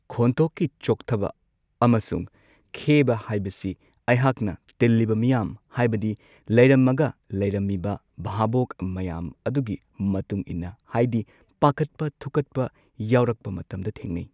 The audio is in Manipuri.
ꯈꯣꯟꯊꯣꯛꯀꯤ ꯆꯣꯛꯊꯕ ꯑꯃꯁꯨꯡ ꯈꯦꯕ ꯍꯥꯏꯕꯁꯤ ꯑꯩꯍꯥꯛꯅ ꯇꯤꯜꯂꯤꯕ ꯃꯤꯌꯥꯝ ꯍꯥꯏꯕꯗꯤ ꯂꯩꯔꯝꯃꯒ ꯂꯩꯔꯝꯃꯤꯕ ꯕꯥꯕꯣꯛ ꯃꯌꯥꯝ ꯑꯗꯨꯒꯤ ꯃꯇꯨꯡ ꯏꯟꯅ ꯍꯥꯏꯗꯤ ꯄꯥꯈꯠꯄ ꯊꯨꯀꯠꯄ ꯌꯥꯎꯔꯛꯄ ꯃꯇꯝꯗ ꯊꯦꯡꯅꯩ꯫